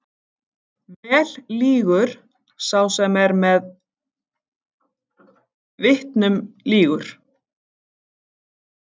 Vel lýgur sá er með vitnum lýgur.